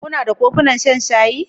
Kuna da kofunan shan shayi?